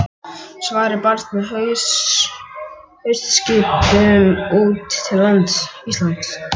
Svarið barst með haustskipum út til Íslands.